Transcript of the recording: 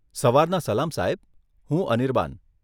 સવારના સલામ સાહેબ, હું અનિરબાન.